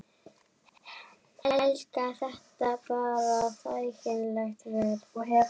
Helga: Þetta bara þægileg ferð?